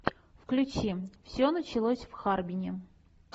включи все началось в харбине